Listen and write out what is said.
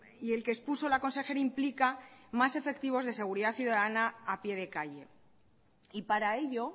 y el que expuso la consejera implica más efectivos de seguridad ciudadana a pie de calle y para ello